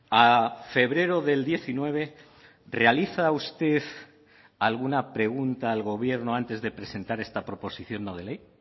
a febrero del diecinueve realiza usted alguna pregunta al gobierno antes de presentar esta proposición no de ley